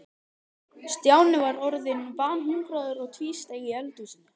Stjáni var orðinn banhungraður og tvísteig í eldhúsinu.